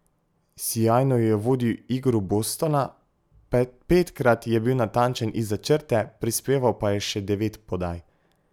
Sijajno je vodil igro Bostona, petkrat je bil natančen izza črte, prispeval pa je še devet podaj.